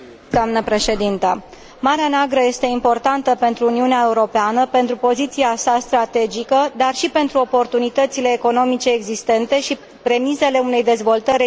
Marea Neagră este importantă pentru Uniunea Europeană pentru poziția sa strategică, dar și pentru oportunitățile economice existente și premisele unei dezvoltări regionale mai puternice.